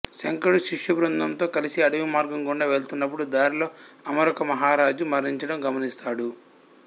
శంకరుడు శిష్యబృందంతో కలసి అడవి మార్గం గుండా వెళ్తున్నప్పుడు దారిలో అమరుక మహారాజు మరణించడం గమనిస్తాడు